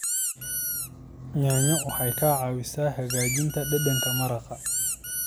Yaanyo waxay ka caawisaa hagaajinta dhadhanka maraq.